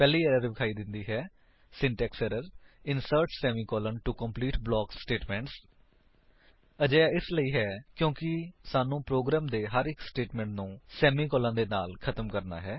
ਪਹਿਲੀ ਏਰਰ ਦਿਖਾਈ ਦਿੰਦੀ ਹੈ syntax error insert semicolon to complete block statements ਅਜਿਹਾ ਇਸਲਈ ਕਿਉਂਕਿ ਸਾਨੂੰ ਪ੍ਰੋਗਰਾਮ ਦੇ ਹਰ ਇੱਕ ਸਟੇਟਮੇਂਟ ਨੂੰ ਸੇਮੀਕਾਲਨ ਦੇ ਨਾਲ ਖ਼ਤਮ ਕਰਣਾ ਹੈ